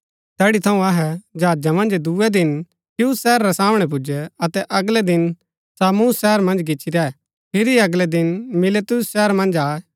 तैड़ी थऊँ अहै जहाजा मन्ज दूये दिन खियुस शहर रै सामणै पुजै अतै अगलै दिन सामुस शहर मन्ज गिच्ची रैह फिरी अगलै दिन मिलेतुस शहर मन्ज आये